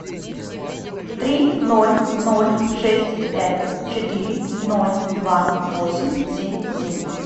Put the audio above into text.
три ноль ноль шесть пять четыре ноль два восемь семь семь